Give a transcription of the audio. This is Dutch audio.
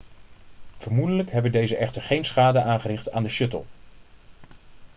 vermoedelijk hebben deze echter geen schade aangericht aan de shuttle